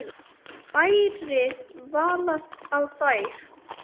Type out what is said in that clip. Bærðir varla á þér.